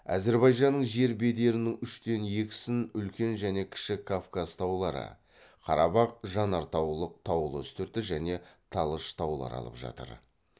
әзірбайжанның жер бедерінің үштен екісін үлкен және кіші кавказ таулары қарабақ жанартаулық таулы үстірті және талыш таулары алып жатыр